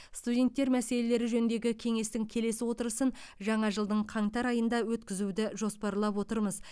студенттер мәселелері жөніндегі кеңестің келесі отырысын жаңа жылдың қаңтар айында өткізуді жоспарлап отырмыз